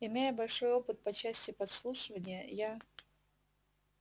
имея большой опыт по части подслушивания я